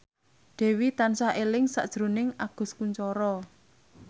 Dewi tansah eling sakjroning Agus Kuncoro